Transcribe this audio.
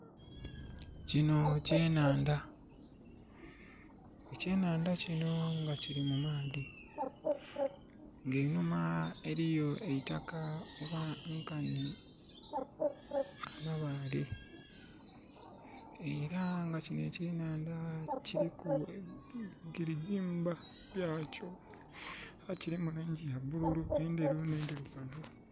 Kino kyenhandha. Ekyenhandha kino nga kili mu maadhi. Nga enhuma eliyo eitaka oba nkanhi amabale...Era nga kino ekyenhandha kiliku girigimba lyakyo. Kilimu langi ya bululu, endheru nh'endhirugavu.